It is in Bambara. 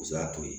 O y'a to ye